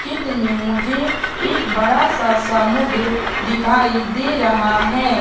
चित्र में मुझे एक बड़ा सा समुद्र दिखाई दे रहा है।